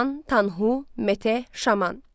Teoman, Tanhu, Mete, Şaman.